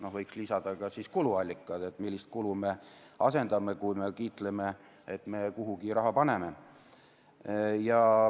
Võiks siis lisada ka kuluallikad, selle, millist kulu me asendame, kui me kiitleme, et me kuhugi raha paneme.